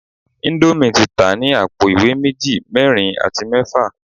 Indomie ti ta ni apo iwe meji, merin ati mefa